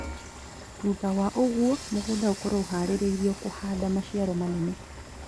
Thutha wa ũguo mũgũnda ũkorwo ũharĩrĩirio kũhanda maciaro manene